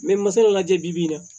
masa dɔ la jɛ bi bi in na